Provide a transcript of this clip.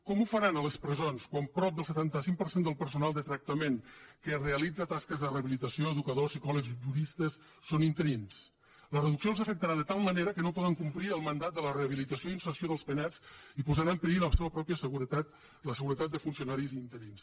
com ho faran a les presons quan prop del setanta cinc per cent del personal de tractament que realitza tasques de rehabilitació educadors psicòlegs juristes són interins la reducció els afectarà de tal manera que no podran complir el mandat de la rehabilitació i inserció dels penats i posarà en perill la seva pròpia seguretat la seguretat dels funcionaris interins